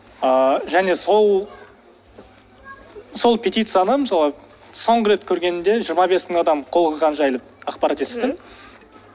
ыыы және сол сол петицияны мысалы соңғы рет көргенімде жиырма бес мың адам қол қойғаны жайлы ақпарат естідім